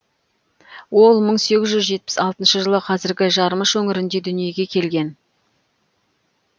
ол мың сегіз жүз жетпіс алтыншы жылы қазіргі жармыш өңірінде дүниеге келген